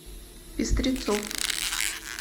пестрецов